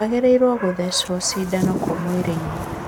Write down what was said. Waagĩrĩiruo gũthecwo cindano kũ mwĩrĩ-inĩ?